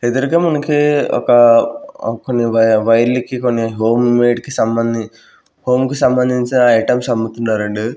ఎదురుగా మనకి ఒక కొన్ని వై వైర్లకి కొన్ని హోమ్ మేడ్ కి సంబంధిం హోమ్ కి సంబంధించిన ఐటమ్స్ అమ్ముతున్నారండీ.